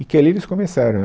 E que ali eles começaram.